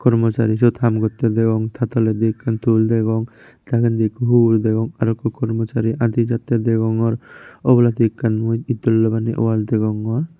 kromochari syot haam gottey degong ta toledi ekkan tool degong degendi ikko hugur degong aro kromochari aadi jattey degongor obladi ekkan mui itdola loi baneye wall degongor.